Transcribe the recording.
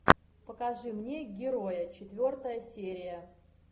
покажи мне героя четвертая серия